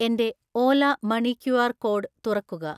എൻ്റെ Ola money QR code തുറക്കുക.